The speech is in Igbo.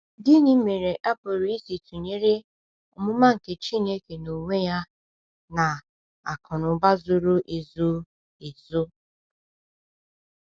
Gịnị mere a pụrụ isi tụnyere “omụma Chineke n’onwe ya” na “akụnụba zoro ezo”? ezo”?